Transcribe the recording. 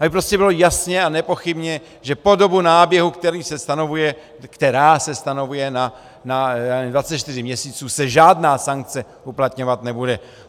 A prostě bylo jasné a nepochybné, že po dobu náběhu, který se stanovuje na 24 měsíců, se žádná sankce uplatňovat nebude.